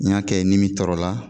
N y'a kɛ ni min tɔrɔ la